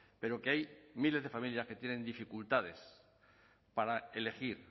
pero que hay miles de familias que tienen dificultades para elegir